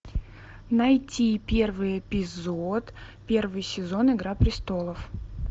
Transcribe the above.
найти первый эпизод первый сезон игра престолов